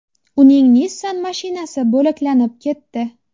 Uning Nissan mashinasi bo‘laklanib ketdi.